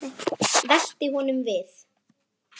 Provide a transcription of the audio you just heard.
Velti honum við.